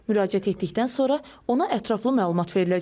Müraciət etdikdən sonra ona ətraflı məlumat veriləcək.